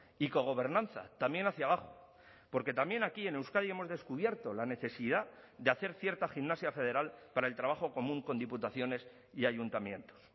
y cogobernanza también hacia abajo porque también aquí en euskadi hemos descubierto la necesidad de hacer cierta gimnasia federal para el trabajo común con diputaciones y ayuntamientos